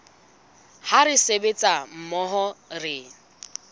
ha re sebetsa mmoho re